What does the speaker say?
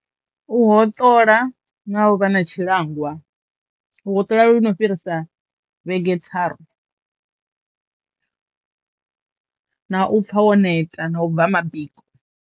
U hoṱola na u vha na tshi langwa, u hoṱola lu no fhirisa vhege tharu na u pfa wo neta na u bva mabiko.